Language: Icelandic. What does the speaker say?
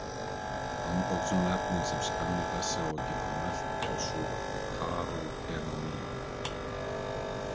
Andoxunarefnin sem skanni þessi á að geta mælt eru svokölluð karótenóíð.